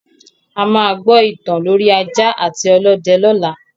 A máa gbọ ìtàn lorí ajá àti ọlọ́dẹ lọla